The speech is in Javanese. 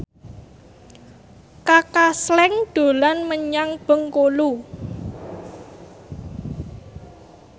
Kaka Slank dolan menyang Bengkulu